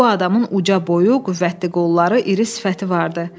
Bu adamın uca boyu, qüvvətli qolları, iri sifəti vardı.